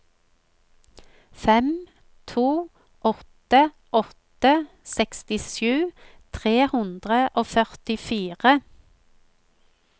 fem to åtte åtte sekstisju tre hundre og førtifire